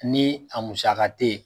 Ni a musaka te ye